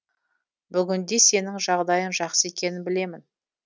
бүгінде сенің жағдайың жақсы екенін білемін